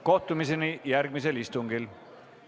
Kohtumiseni järgmisel istungil!